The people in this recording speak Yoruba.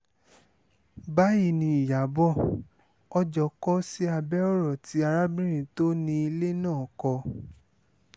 báyìí ni ìyàbọ̀ ọjọ́ kò sí abẹ́ ọ̀rọ̀ tí arábìnrin tó ni ilé náà kọ